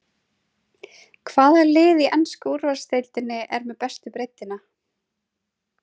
Hvaða lið í ensku úrvalsdeildinni er með bestu breiddina?